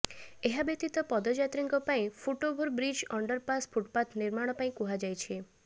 ଏହାବ୍ୟତୀତ ପଦଯାତ୍ରୀଙ୍କ ପାଇଁ ଫୁଟଓଭର ବ୍ରିଜ୍ ଅଣ୍ଡରପାସ୍ ଫୁଟପାଥ୍ ନିର୍ମାଣ ପାଇଁ କୁହାଯାଇଛି